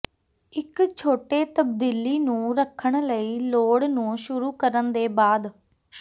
ਇੱਕ ਛੋਟੇ ਤਬਦੀਲੀ ਨੂੰ ਰੱਖਣ ਲਈ ਲੋੜ ਨੂੰ ਸ਼ੁਰੂ ਕਰਨ ਦੇ ਬਾਅਦ